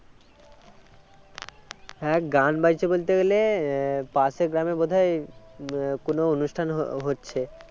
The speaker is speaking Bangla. হ্যাঁ গান বাজছে বলতে গেলে আহ পাশের গ্রামে বোধ হয় কোনও অনুষ্ঠান হ~ হচ্ছে